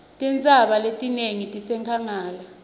tintsaba letinengi tisenkhangala